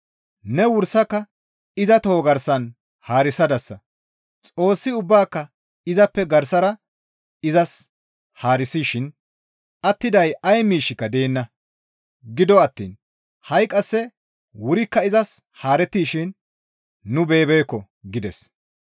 Ne wursaka iza toho garsan haarisadasa; Xoossi ubbaaka izappe garsara izas haarisishin attiday ay miishshika deenna. Gido attiin ha7i qasse wurikka izas haarettishin nu beyibeekko» gides.